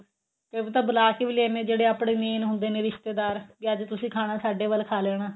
ਕਈ ਵਾਰੀ ਤਾਂ ਬਲਾ ਕੇ ਵੀ ਲੈ ਆਉਂਦੇ ਹਾਂ ਜਿਹੜੇ ਆਪਣੇ main ਹੁੰਦੇ ਆ ਰਿਸ਼ਤੇਦਾਰ ਵੀ ਅੱਜ ਤੁਸੀਂ ਖਾਨਾ ਸਾਡੇ ਵੱਲ ਖਾ ਲੈਣਾ